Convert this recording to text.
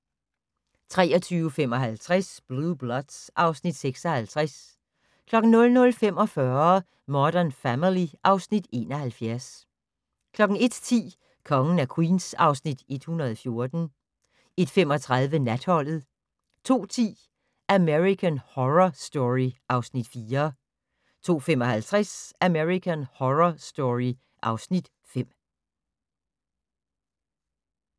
23:55: Blue Bloods (Afs. 56) 00:45: Modern Family (Afs. 71) 01:10: Kongen af Queens (Afs. 114) 01:35: Natholdet 02:10: American Horror Story (Afs. 4) 02:55: American Horror Story (Afs. 5)